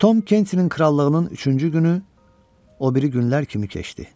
Tom Kensin krallığının üçüncü günü o biri günlər kimi keçdi.